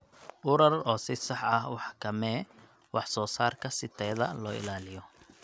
U rar oo si sax ah u xakamee wax soo saarka si tayada loo ilaaliyo.